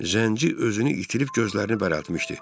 Zənci özünü itirib gözlərini bərəltmişdi.